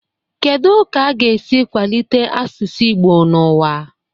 Kedu ka a ga-esi kwalite asụsụ Igbo n'ụwa?